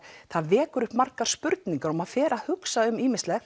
það vekur upp margar spurningar og maður fer að hugsa um ýmislegt